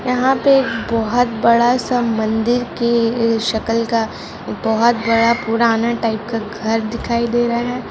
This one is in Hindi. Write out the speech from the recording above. यहाँ पे बहुत बड़ा सा मंदिर की शक्ल का बहुत बड़ा पूराना टाईप का घर दिखाई दे रहा है।